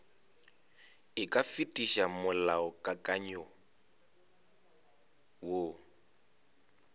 e ka fetiša molaokakanywa woo